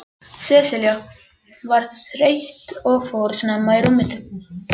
Sesselja var þreytt og fór snemma í rúmið.